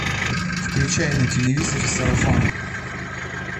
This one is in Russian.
включай на телевизоре сарафан